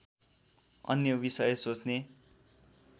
अन्य विषय सोच्ने